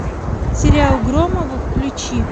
сериал громовы включи